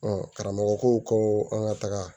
karamɔgɔ ko ko an ka taga